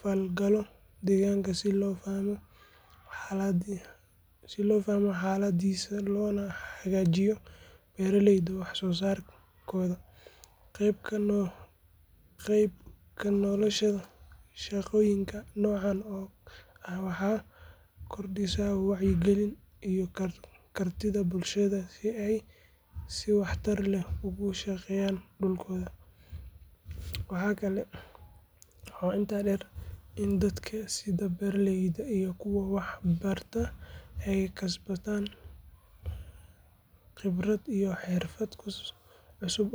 falgalo deegaanka si loo fahmo xaaladdiisa loona hagaajiyo beeraleyda wax soo saarkooda. Qayb ka noqoshada shaqooyinka noocan ah waxay kordhisaa wacyiga iyo kartida bulshada si ay si waxtar leh ugu shaqeeyaan dhulkooda. Waxaa intaa dheer in dadka sida beeraleyda iyo kuwa wax barta ay kasbadaan khibrad iyo xirfado cusub.